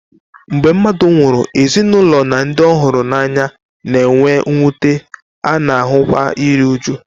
Mgbe mmadụ nwụrụ, ezinụlọ na ndị ọ hụrụ n'anya na-enwe mwute, a na-ahụkwa iru újú.